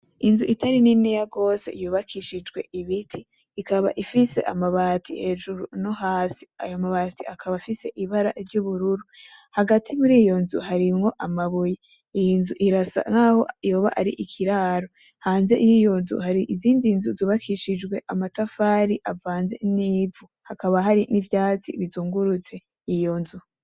Inzu itari niniya gose yubakishijwe ibiti, ikaba ifise amabati hejuru no hasi, ayo mabati akaba afise ibara ry'ubururu, hagati muri iyo nzu harimwo amabuye, iyi nzu irasa nkaho yoba ari ikiraro, hanze y'iyo nzu hari izindi nzu zubakishijwe amatafari avanze n'ivu, hakaba hari n'ivyatsi bizungurutse iyo nzu.